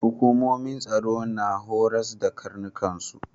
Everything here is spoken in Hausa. Hukumomin tsaro na horas da karnukan su.